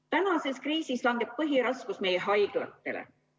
Praeguses kriisis langeb põhiraskus meie haiglatele.